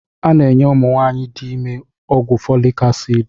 A na-enye ụmụ nwaanyị dị ime ọgwụ Folik asidi